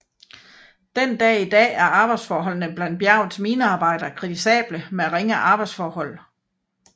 Den dag i dag er arbejdsforholdene blandt bjergets minearbejdere kritisable med ringe arbejdsforhold